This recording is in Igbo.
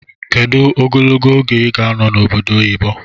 Kedu ogologo oge iga anọ na obodo oyibo?